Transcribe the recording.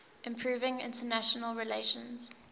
improving international relations